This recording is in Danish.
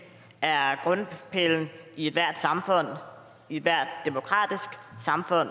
er grundpillen i ethvert samfund i ethvert demokratisk samfund og